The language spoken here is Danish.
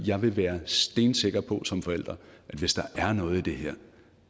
jeg vil være stensikker på som forælder at hvis der er noget i det her